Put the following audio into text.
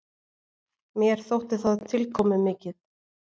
Mér þótti það tilkomumikið.